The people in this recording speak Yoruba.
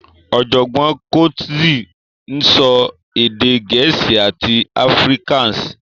Ọ̀jọ̀gbọ́n Cotzee ń sọ èdè Gẹ̀ẹ́sì àti Afrikaans